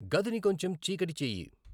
గదిని కొంచెం చీకటి చేయి